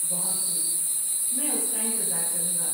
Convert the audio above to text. بہت خوب، میں اس کا انتظار کروں گا۔